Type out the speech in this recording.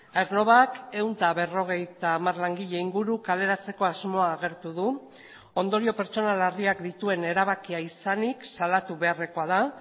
aernnovak ehun eta berrogeita hamar langile inguru kaleratzeko asmoa agertu du ondorio pertsonal larriak dituen erabakia izanik salatu beharrekoa da